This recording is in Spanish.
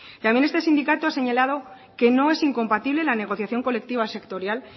también este sindicato ha señalado que no es incompatible la negociación colectiva sectorial